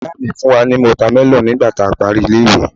ìyá mi fún wa ni watermelon nigba ti a pari ile iwe